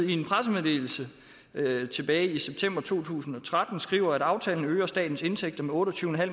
i en pressemeddelelse tilbage i september to tusind og tretten skriver at aftalen øger statens indtægter med otte og tyve